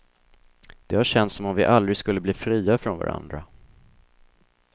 Det har känts som om vi aldrig skulle bli fria från varandra.